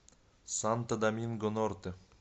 санто доминго норте